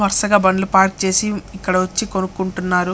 వరుసగా బండ్లు పార్క్ చేసి ఇక్కడ వచ్చి కొనుకుంటున్నారు.